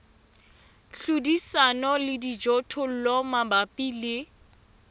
hlodisana le dijothollo mabapi le